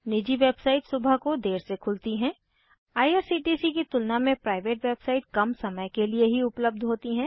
निजी वेबसाइट सुबह को देर से खुलती हैं आईआरसीटीसी की तुलना में प्राइवेट वेबसाइट कम समय के लिए ही उपलब्ध होती हैं